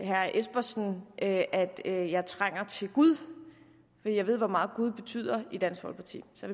herre espersen at at jeg trænger til gud for jeg ved hvor meget gud betyder i dansk folkeparti så